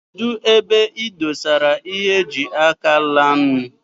Kedụ ebe ị dosara ịhe eji ákà laịnu.